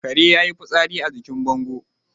Kare yayi fitsari a jikin bango